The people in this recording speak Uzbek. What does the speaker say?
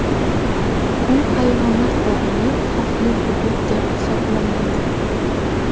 U hayvonot bog‘ini xavfli hudud deb hisoblamaydi.